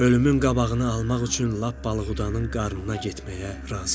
Ölümün qabağını almaq üçün lap balıqudanın qarnına getməyə razı idi.